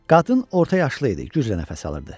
Qadın orta yaşlı idi, güclə nəfəs alırdı.